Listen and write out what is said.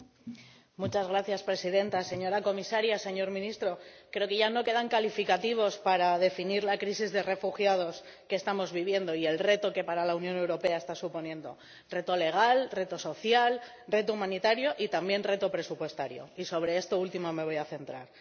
Señora Presidenta, señora comisaria, señor ministro, creo que ya no quedan calificativos para definir la crisis de refugiados que estamos viviendo y el reto que para la Unión Europea está suponiendo reto legal, reto social, reto humanitario y, también, reto presupuestario, y sobre esto último me voy a centrar.